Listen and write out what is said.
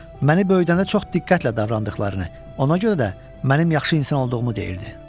Məni böyüdəndə çox diqqətlə davrandıqlarını, ona görə də mənim yaxşı insan olduğumu deyirdi.